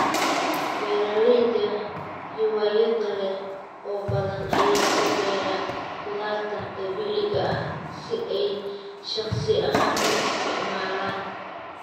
Beeralayda hiwaayadda leh oo badan ayaa u beera khudaarta dabiiciga ah si ay shakhsi ahaan u isticmaalaan.